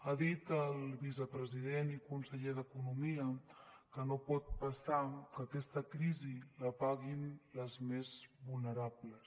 ha dit el vicepresident i conseller d’economia que no pot passar que aquesta crisi la paguin les més vulnerables